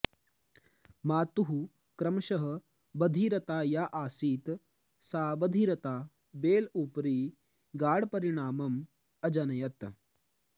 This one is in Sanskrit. मातुः क्रमशः बधिरता या आसीत् सा बधिरता बेल् उपरि गाढपरिणामम् अजनयत्